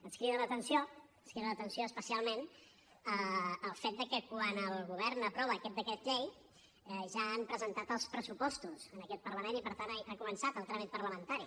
ens crida l’atenció ens crida l’atenció especialment el fet que quan el govern aprova aquest decret llei ja han presentat els pressupostos en aquest parlament i per tant ha començat el tràmit parlamentari